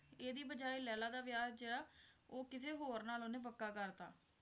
ਇਹਦੀ ਬਜਾਏ ਲੈਲਾ ਦਾ ਵਿਆਹ ਜਿਹੜਾ ਉਹ ਕਿਸੇ ਹੋਰ ਨਾਲ ਉਹਨੇ ਪੱਕਾ ਕਰਤਾ